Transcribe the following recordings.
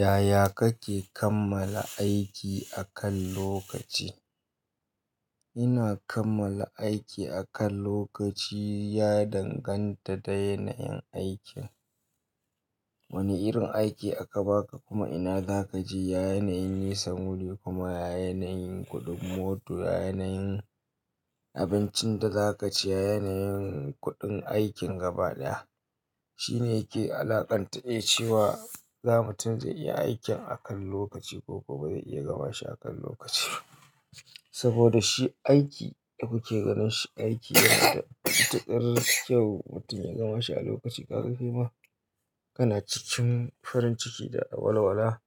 Yaya kake kammala aiki akan lokaci? Ina kammala aiki akan lokaci, ya danganta da yanayin aikin. Wane irin aiki aka baka kuma ina zaka je. Yanayin nisan wuri kuma yanayin kuɗin mota, ya yanayin abincin da za ka ci, ya yanayin kuɗin aikin gaba ɗaya shine yake alaƙanta cewa za mu tun zai iya aikin akan lokaci ko ko ba zai iya gama shi akan lokaci. Saboda shi aiki da kuke ganin shi aiki yana da matukar kyau mutum ya gama shi a lokaci. Ka ga kai ma kana cikin farin ciki da walwala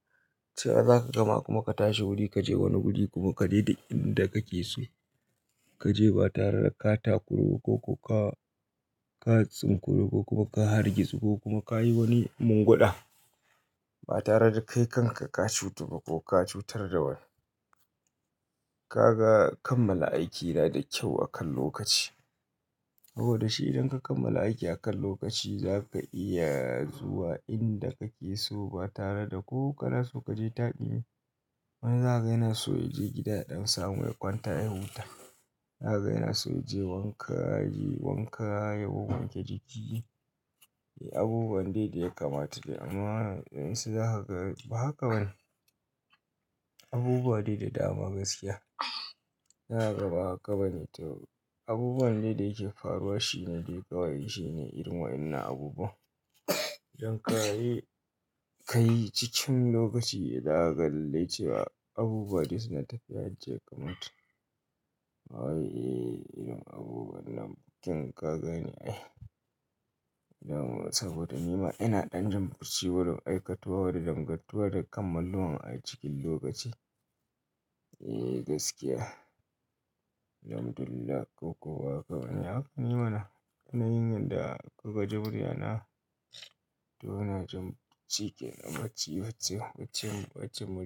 cewa zaka gama kuma ka tashi wuri ka je wani wuri kuma ka dai da inda kake so. Ka je ba tare da ka takurba ko ka, ka tsinkurba ko kuma ka hargitsu ko kuma ka yi wani munguda ba tare da kai kanka ka cutu ba ko ka cutar da wani. Ka ga kammala aiki yana da kyau akan lokaci. Saboda shi idan ka kammala aiki akan lokaci za ka iya zuwa inda kake so ba tare da ko kana so kaje taɗi. Wani za ka ga yana so ya je gida ɗan samu ya kwanta ya huta. Za ka ga yana so ya je wanka, ya yi wanka ya wanke jiki. Eh abubuwan dai dai ya kamata. Amma idan sai za ka ga ba haka bane. Abubuwa dai da dama gaskiya. Ina gaba haka bane. Abubuwan dai da yake faruwa shine dai kawai shine irin waɗannan abubuwa. Ka yi cikin lokaci zakaga lallai cewa abubuwa dai suna tafiya dai suna tafiya yadda kamata. Eh irin abubuwa nan king ka gane ai. Saboda nima ina ɗan jin barci warin aikatuwa wajen dangantuwa da kammaluwan a cikin lokaci. Eh gaskiya. Alhamdulillahi ko ko ba haka bane. Haka nema na, yanayin yanda kuka ji burya na to ina jin shikenan barci.